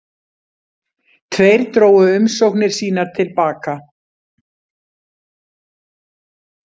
Tveir drógu umsóknir sínar til baka